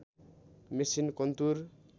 machine कन्तुर